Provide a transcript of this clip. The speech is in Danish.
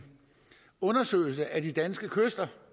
undersøgelse af de danske kyster